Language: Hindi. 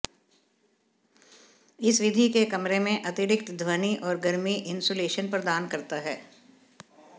इस विधि के कमरे में अतिरिक्त ध्वनि और गर्मी इन्सुलेशन प्रदान करता है